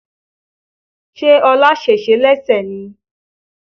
Ṣé ọlá sèse lẹ́sẹ̀ ni?